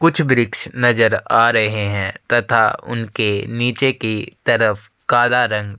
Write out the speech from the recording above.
कुछ वृक्ष नज़र आ रहे है तथा उनके निचे की तरफ कला रंग--